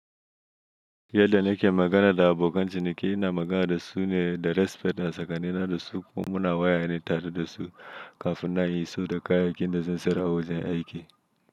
Yadda nake magana da abokan ciniki, ina magana da su ne da respect a tsakanina da su ko muna waya ne tare da su kafin nan in iso da kayan aikin da zan sayar a wajen aiki.